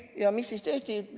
Ja mis siis tehti?